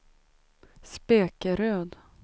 Spekeröd